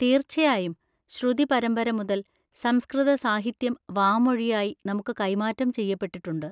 തീർച്ചയായും! ശ്രുതിപരമ്പര മുതൽ സംസ്‌കൃത സാഹിത്യം വാമൊഴിയായി നമുക്ക് കൈമാറ്റം ചെയ്യപ്പെട്ടിട്ടുണ്ട്.